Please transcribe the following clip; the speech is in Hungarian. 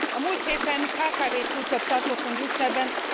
A múlt héten kkv csúcsot tartottunk Brüsszelben, kb.